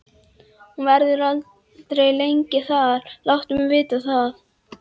Hún verður aldrei lengi þar, láttu mig vita það.